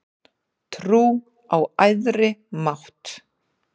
Trú á æðri mátt